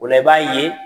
O la i b'a ye